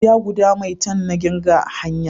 Gida guda maitan na kirga a hanya